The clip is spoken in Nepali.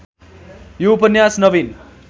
यो उपन्यास नविन